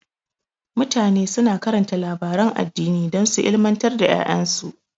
Mutane suna karanta labaran addini don su ilmantar da ƴaƴansu.